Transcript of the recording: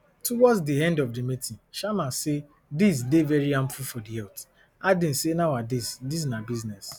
towards di end of di meeting sharma say dis dey very harmful for di health adding say nowadays dis na business